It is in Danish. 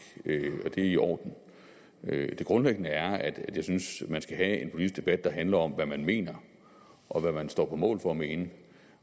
og det er i orden det grundlæggende er at jeg synes man skal have en politisk debat der handler om hvad man mener og hvad man står på mål for at mene